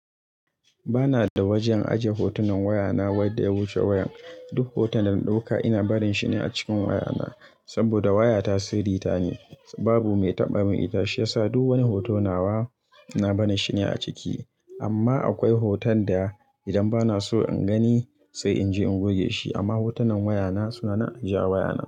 Ba na da wajen ajiye hotunan wayana wanda ya wuce wayan. Duk hoton da na ɗauka ina barin shi ne a cikin wayana. Sabida wayata sirri ta ne, babu mai taɓa min ita shi yasa duk wani hoto nawa ina barin shi ne a ciki. Amma akwai hoton da idan ba na so in gani sai in je in goge shi. Amma hotunan wayana suna nan a ajiye a wayana.